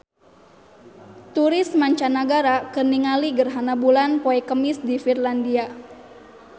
Turis mancanagara keur ningali gerhana bulan poe Kemis di Finlandia